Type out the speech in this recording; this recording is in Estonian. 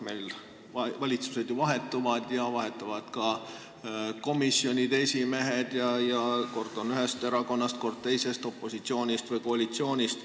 Meil valitsused ju vahetuvad ja vahetuvad ka komisjonide esimehed, kord on nad ühest erakonnast, kord teisest, nad on opositsioonist või koalitsioonist.